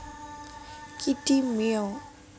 Kiddie Meal